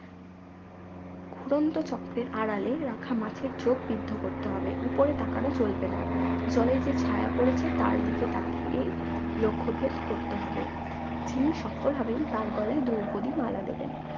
ঘুরন্তচক্রের আড়ালে রাখা মাছের চোখ বৃদ্ধ করতে হবে উপরে তাকানো চলবে না জলে যে ছায়া পড়েছে তার দিকে তাকিয়েই লক্ষ্যভেদ করতে হবে যিনি সফল হবেন তার গলায় দ্রৌপদী মালা দেবেন